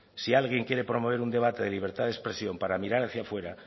si alguien quiere promover un debate de libertad de expresión para mirar hacia fuera